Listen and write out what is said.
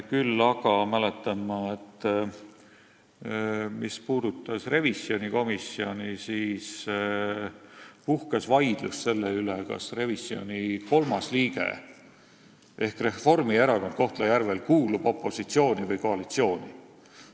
Küll aga mäletan ma, et mis puudutab revisjonikomisjoni, siis puhkes Kohtla-Järvel vaidlus selle üle, kas kolmas liige ehk Reformierakond kuulub opositsiooni või koalitsiooni.